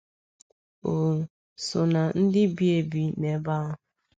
O so ná ndị bi ebi n’ebe ahụ.